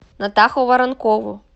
натаху воронкову